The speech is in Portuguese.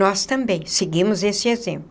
Nós também seguimos esse exemplo.